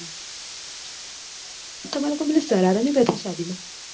તમારે લોકો ને પીલો સરારો નહિ પેરતા સાદી માં